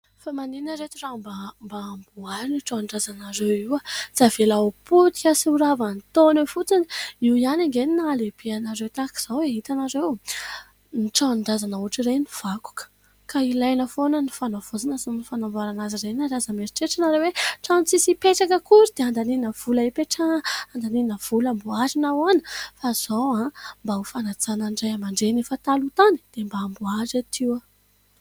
Fa manina iretsy raha mba amboarina io tranon-drazanareo io ? Aza avela ho potika sy horava ny taona eo fotsiny. Io ihany ange ny nahalebe anareo tahaka izao e ! Itanareo, ny tranon-drazana ohatra ireny vakoka ka ilaina foana ny fanaovaozana sy ny fanamboarana azy reny. Ary aza meritreritra nareo hoe trano tsisy hipetraka akory dia andaniana vola hipetrana, andaniana vola mboarina ahoana fa izao aho mba ho fanajanana an'ireo ray aman-dreny efa taloha tany dia mba amboary reto io.